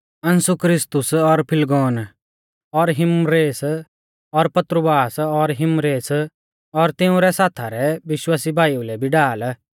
असुंक्रितुस और फिलगोन और हिर्मेस और पत्रुबास और हिर्मेस और तिऊं रै साथा रै विश्वासी भाईऊ लै भी ढाल